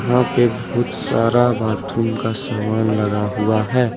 यहाँ पे बहुत सारा बाथरूम का सामान लगा हुआ है।